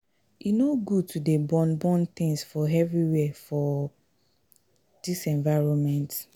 E no good to dey burn burn tins for everywhere for dis environment.